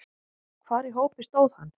Hvar í hópi stóð hann?